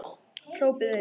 Hrópaði einn: